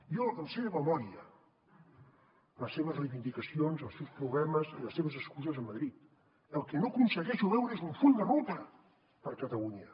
jo em sé de memòria les seves reivindicacions els seus problemes i les seves excuses a madrid el que no aconsegueixo veure és un full de ruta per a catalunya